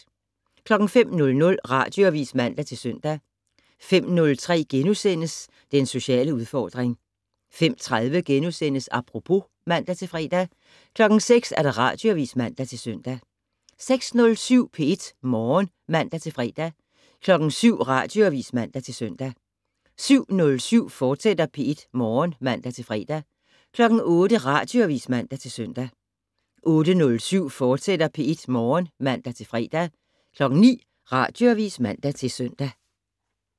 05:00: Radioavis (man-søn) 05:03: Den sociale udfordring * 05:30: Apropos *(man-fre) 06:00: Radioavis (man-søn) 06:07: P1 Morgen (man-fre) 07:00: Radioavis (man-søn) 07:07: P1 Morgen, fortsat (man-fre) 08:00: Radioavis (man-søn) 08:07: P1 Morgen, fortsat (man-fre) 09:00: Radioavis (man-søn)